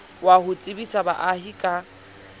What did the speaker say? wa ho tsebisa baahi ka